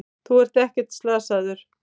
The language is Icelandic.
Þú ert ekkert slasaður.